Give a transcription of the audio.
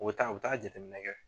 U bɛ taa u bɛ taa jateminɛ kɛ.